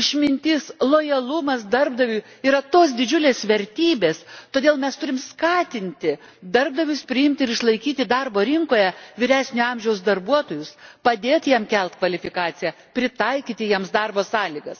išmintis, lojalumas darbdaviui yra tos didžiulės vertybės, todėl mes turime skatinti darbdavius priimti ir išlaikyti darbo rinkoje vyresnio amžiaus darbuotojus, padėti jiems kelti kvalifikaciją, pritaikyti jiems darbo sąlygas.